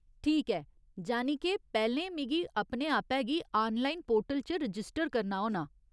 ठीक ऐ ! जानि के पैह्‌लें मिगी अपने आपै गी आनलाइन पोर्टल च रजिस्टर करना होना।